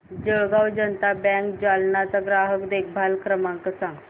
Jalgaon Janata bank Jalna चा ग्राहक देखभाल क्रमांक सांग